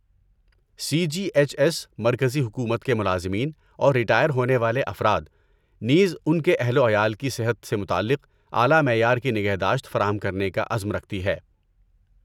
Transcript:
سی G H S مرکزی حکومت کے ملازمین اور ریٹائر ہونے والے افراد، نیز ان کے اہل و عیال کو صحت سے متعلق اعلی معیار کی نگہداشت فراہم کرنے کا عزم رکھتی ہے۔